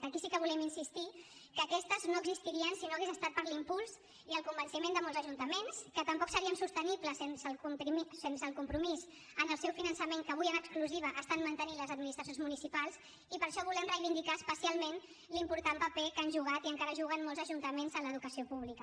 aquí sí que volem insistir que aquestes no existirien si no hagués estat per l’impuls i el convenciment de molts ajuntaments que tampoc serien sostenibles sense el compromís en el seu finançament que avui en exclusiva mantenen les administracions municipals i per això volem reivindicar especialment l’important paper que han jugat i encara juguen molts ajuntaments en l’educació pública